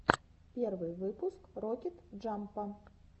первый выпуск рокет джампа